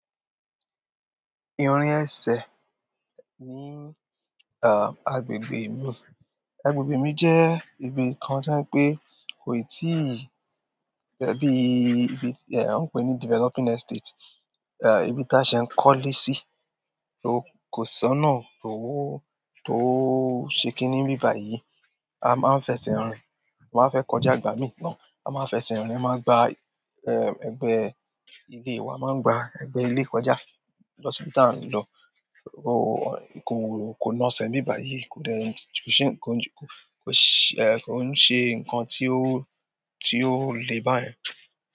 Irin ẹsẹ̀ ní, ah, agbègbè mi. Agbègbè mi jẹ́ ibi kan tí ń pé kò ì tíì, ẹbí, ẹbí, ẹ, ó ń pé ní developing estate. Ah, ibi táṣẹ ń kólé sí, tó kò sọnà, tó, tó ṣe kí ní nbíbà yìí. A máa ń fẹsẹ̀ rìn, a máa ń fẹ́ kọjá igbàmì náà. A máa ń fẹsẹ̀ rìn, a máa ń gba, ẹ, ẹgbẹ́, ile wa, a máa ń gba ẹgbẹ́ ilé kọjá. Lọ sibi tà n lọ, ó, kò, kò naṣẹ̀ nbíbà yìí, kò dẹ, kò ṣe, kò ṣe, kò ṣe nǹkan tí ó, tí ó le báyẹn.